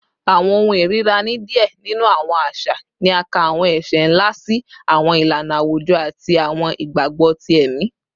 Awọn ohun irira ni diẹ ninu awọn aṣa ni a ka awọn ẹṣẹ nla si awọn ilana awujọ ati awọn igbagbọ ti ẹmi